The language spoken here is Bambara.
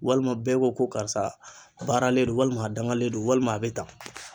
Walima bɛɛ ko ko karisa baaralen don walima a dangalen don walima a bɛ tan.